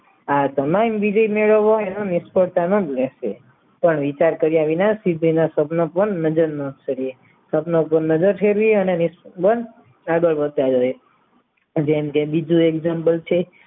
આ તમામ વિજય મેળવવા એનો નિષ્ફળતાનો જ રહેશે પણ વિચાર કર્યા વિના સિદ્ધિના સ્વપ્ન પણ નજર ન કરીએ સપનો પણ નજર ફેરવી અને જેમ કે બીજું example છે